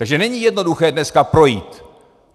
Takže není jednoduché dneska projít.